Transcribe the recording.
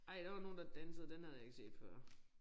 Ej der var nogen der dansede den havde jeg ikke set før